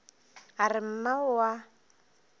a re mma o a